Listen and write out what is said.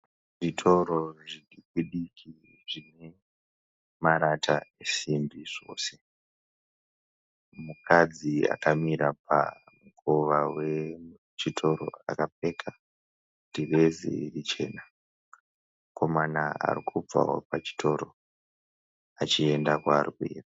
Zvitoro zvidiki diki zvine marata esimbi zvose. Mukadzi akamira pamukova wechitoro akapfeka dhirezi richena. Mukomana arikubva pachitoro achienda kwaari kuenda.